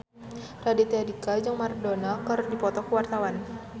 Raditya Dika jeung Maradona keur dipoto ku wartawan